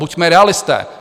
Buďme realisté!